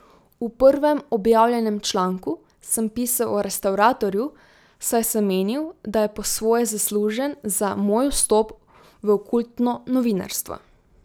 V prvem objavljenem članku sem pisal o restavratorju, saj sem menil, da je po svoje zaslužen za moj vstop v okultno novinarstvo.